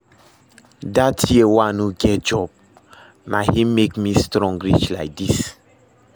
That year wey I no get job, na him make me strong reach like this